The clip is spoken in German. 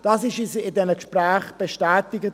Das wurde uns in diesen Gesprächen bestätigt.